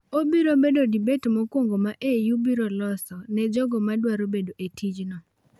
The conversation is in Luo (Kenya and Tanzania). Obiro bedo debat mokwongo ma AU biro loso ne jogo ma dwaro bedo e tichno.